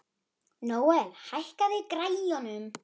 Nóel, hækkaðu í græjunum.